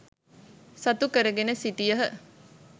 සතු කරගෙන සිටියහ.